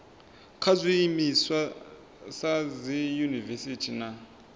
kha zwiimiswa sa dziyunivesiti na